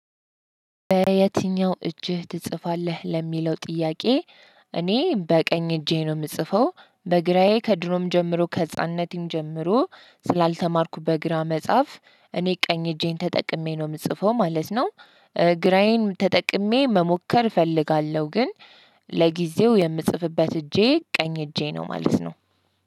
በየትኛው እጅህ ትጽፋለህ ለሚለው ጥያቄ? እኔ በቀኝ እጄ ነው የምጽፈው በግራዬ ከድሮም ጀምሮ ከህፃንነቴም ጀምሮ ስላልተማርኩ በግራ መጻፍ እኔ ቀኝ እጄን ተጠቅሜ ነው የምጽፈው ማለት ነው። ግራዬን ተጠቅሜ መሞከር እፈልጋለሁ ግን። ለጊዜው የምጽፍበት እጄ ቀኝ እጄ ነው ማለት ነው።